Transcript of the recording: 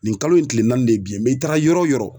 Nin kalo in tile naani de ye bi ye i taara yɔrɔ o yɔrɔ